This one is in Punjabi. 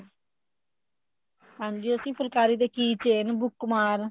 ਹਾਂਜੀ ਅਸੀਂ ਫੁਲਕਾਰੀ ਦੇ key chain